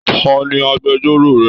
Tani agbẹ̀jọ́ro rẹ?